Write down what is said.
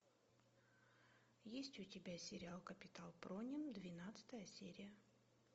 есть у тебя сериал капитан пронин двенадцатая серия